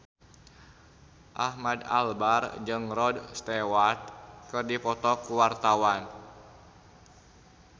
Ahmad Albar jeung Rod Stewart keur dipoto ku wartawan